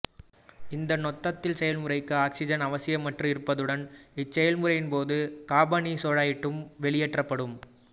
இந்த நொதித்தல் செயல்முறைக்கு ஆக்சிசன் அவசியமற்று இருப்பதுடன் இச்செயல்முறையின்போது காபனீரொட்சைட்டும் வெளியேற்றப்படும்